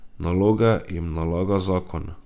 Naloge jim nalaga zakon.